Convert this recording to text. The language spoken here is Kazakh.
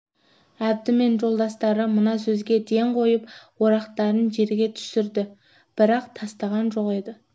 әбді мен жолдастары мына сөзге ден қойып орақтарын жерге түсірді бірақ тастаған жоқ еді